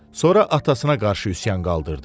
Sonra atasına qarşı üsyan qaldırdı.